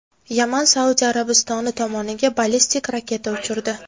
Yaman Suadiya Arabistoni tomoniga ballistik raketa uchirdi.